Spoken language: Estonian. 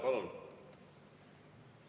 Palun!